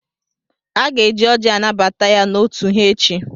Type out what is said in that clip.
Aga-eji ọ́jị́ anabata ya n'òtù ha echi.